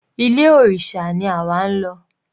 Ilé òrìṣà ni àwa ń lọ.